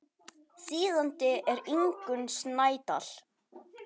Þýðandi er Ingunn Snædal.